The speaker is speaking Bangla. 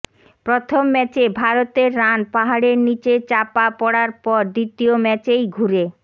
প্রথম ম্যাচে ভারতের রান পাহাড়ের নিচে চাপা পড়ার পর দ্বিতীয় ম্যাচেই ঘুরে